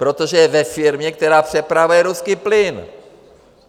Protože je ve firmě, která přepravuje ruský plyn!